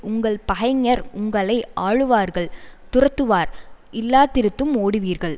உங்கள் பகைஞர் உங்களை ஆளுவார்கள் துரத்துவார் இல்லாதிருந்தும் ஓடுவீர்கள்